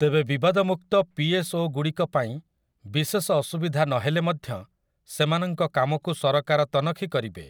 ତେବେ ବିବାଦମୁକ୍ତ ପିଏସ୍ଓଗୁଡ଼ିକ ପାଇଁ ବିଶେଷ ଅସୁବିଧା ନ ହେଲେ ମଧ୍ୟ ସେମାନଙ୍କ କାମକୁ ସରକାର ତନଖି କରିବେ ।